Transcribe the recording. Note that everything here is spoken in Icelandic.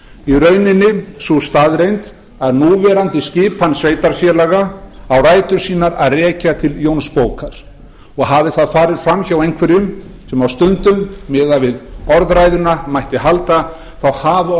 í rauninni sú staðreynd að núverandi skipan sveitarfélaga á rætur sínar að rekja til jónsbókar og hafi það farið fram hjá einhverjum sem á stundum miðað við orðræðuna mætti halda þá hafa